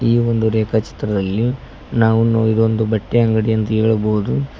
ಈ ಒಂದು ರೇಖಾ ಚಿತ್ರದಲ್ಲಿ ನಾವು ಈ ಇದೊಂದು ಬಟ್ಟೆ ಅಂಗಡಿ ಎಂದು ಹೇಳಬಹುದು.